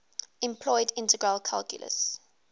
employed integral calculus